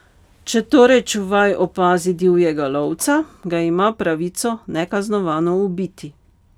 Če torej čuvaj opazi divjega lovca, ga ima pravico nekaznovano ubiti.